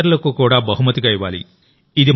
ఇతరులకు కూడా బహుమతిగా ఇవ్వాలి